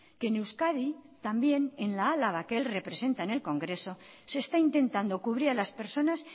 que en euskadi también en la álava que él representa en el congreso se está intentando cubrir a las personas